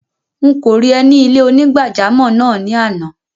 Nkọ rí è ni ilẹ̀-onígbàjàmọ́ náà ni ànà.